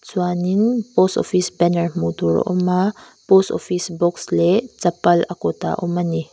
chuanin post office banner hmuh tur a awma post office box leh chapal a kawtah a awm ani.